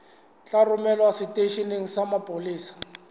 tla romelwa seteisheneng sa mapolesa